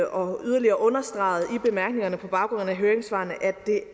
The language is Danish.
og yderligere understreget i bemærkningerne på baggrund af høringssvarene at det